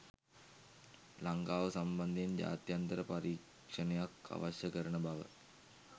ලංකාව සම්බන්ධයෙන් ජාත්‍යන්තර පරීක්ෂණයක් අවශ්‍ය කරන බව.